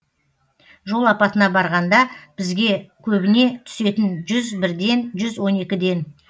жол апатына барғанда бізге көбіне түсетін жүз бірден жүз он екіден